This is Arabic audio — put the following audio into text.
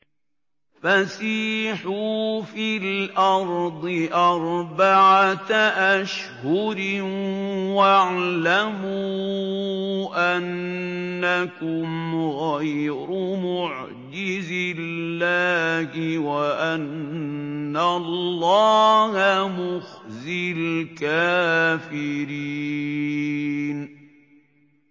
فَسِيحُوا فِي الْأَرْضِ أَرْبَعَةَ أَشْهُرٍ وَاعْلَمُوا أَنَّكُمْ غَيْرُ مُعْجِزِي اللَّهِ ۙ وَأَنَّ اللَّهَ مُخْزِي الْكَافِرِينَ